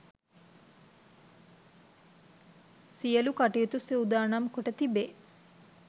සියලු කටයුතු සූදානම් කොට තිබේ